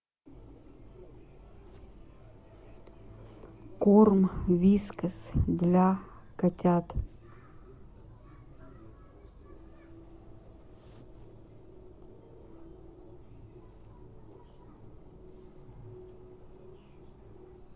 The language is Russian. корм вискас для котят